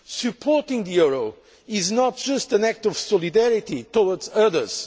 Supporting the euro is not just an act of solidarity towards others.